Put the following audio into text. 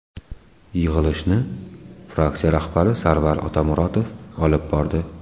Yig‘ilishni fraksiya rahbari Sarvar Otamuratov olib bordi.